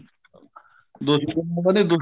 ਦੁਸ਼ਮਣ ਦਾ ਨੀ ਦੁਸ਼ਮਣ